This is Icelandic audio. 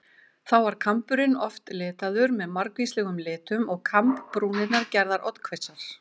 Þá var kamburinn oft litaður með margvíslegum litum og kambbrúnirnar gerðar oddhvassar.